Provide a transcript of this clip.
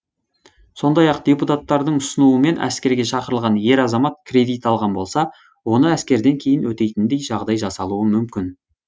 сондай ақ депутаттардың ұсынуымен әскерге шақырылған ер азамат кредит алған болса оны әскерден кейін өтейтіндей жағдай жасалуы мүмкін